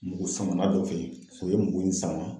Mugusama dɔ fɛ yen o ye mugu in sama.